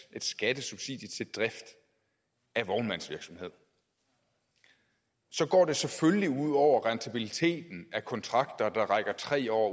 et skattesubsidie til drift af vognmandsvirksomhed går det selvfølgelig ud over rentabiliteten af de kontrakter der rækker tre år